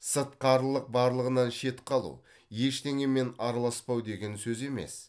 сыртқарылық барлығынан шет қалу ештеңемен араласпау деген сөз емес